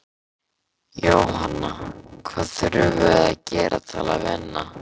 Jóhanna: Hvað þurfum við að gera til að vinna?